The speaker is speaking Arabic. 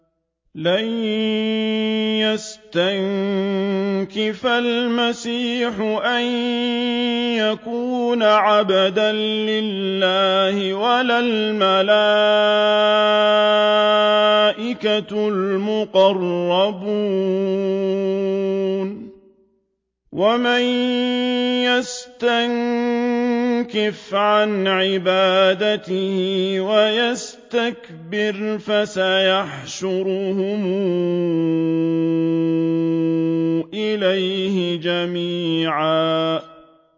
لَّن يَسْتَنكِفَ الْمَسِيحُ أَن يَكُونَ عَبْدًا لِّلَّهِ وَلَا الْمَلَائِكَةُ الْمُقَرَّبُونَ ۚ وَمَن يَسْتَنكِفْ عَنْ عِبَادَتِهِ وَيَسْتَكْبِرْ فَسَيَحْشُرُهُمْ إِلَيْهِ جَمِيعًا